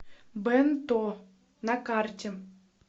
бэнто на карте